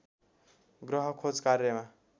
ग्रह खोज कार्यमा